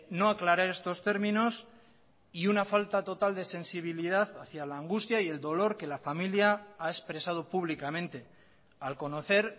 no aclarar estos términos y una falta total de sensibilidad hacia la angustia y el dolor que la familia ha expresado públicamente al conocer